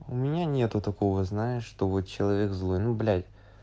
у меня нету такого знаешь что вот человек злой ну блять